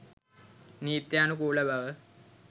නීත්‍යානුකූලබව